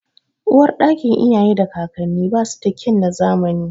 Uwarɗakin iyaye da kakanni ba su da kyan na zamani.